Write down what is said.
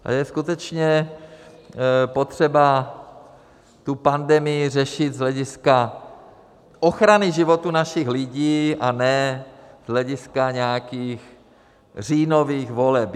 Je skutečně potřeba tu pandemii řešit z hlediska ochrany životů našich lidí, a ne z hlediska nějakých říjnových voleb.